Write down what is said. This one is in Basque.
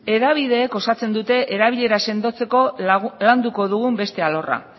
hedabideek osatzen dute erabilera sendotzeko landuko dugun beste alorra